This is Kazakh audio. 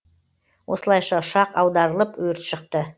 осылайша ұшақ аударылып өрт шықты